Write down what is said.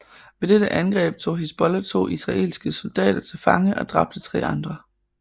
Ved dette angreb tog Hizbollah to israelske soldater til fange og dræbte tre andre